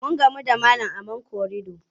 Mun gamu da malam a man korido.